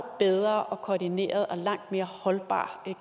bedre koordineret og langt mere holdbar